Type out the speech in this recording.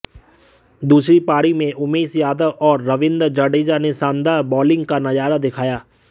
दुसरी पारी में उमेश यादव ओर रविन्द्र जाडेजा ने शानदार बोलींग का नजारा दीखाया